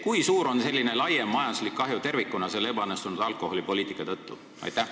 Kui suur on ebaõnnestunud alkoholipoliitika laiem majanduslik kahju tervikuna?